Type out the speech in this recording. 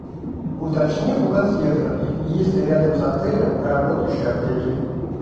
уточни у консьержа есть ли рядом с отелем работающие аптеки